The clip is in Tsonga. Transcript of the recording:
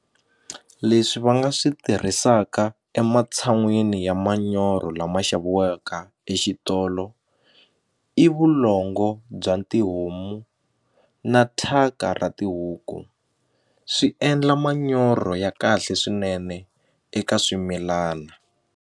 Leswi va nga swi tirhisaka ematshan'wini ya manyoro lama xaviweke exitolo i vulongo bya tihomu na thyaka ra tihuku swi endla manyoro ya kahle swinene eka swimilana.